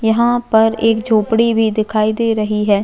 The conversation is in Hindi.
यहाँ पर एक झोपड़ी भी दिखाई दे रही है।